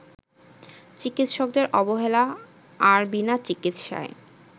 চিকিৎসকদের অবহেলা আর বিনা চিকিৎসায়